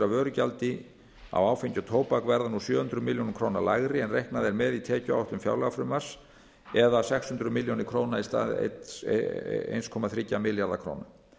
af vörugjaldi á áfengi og tóbak verða nú sjö hundruð milljóna króna lægri en reiknað er með í tekjuáætlun fjárlagafrumvarps það er sex hundruð milljóna króna í stað einn komma þrjá milljarða króna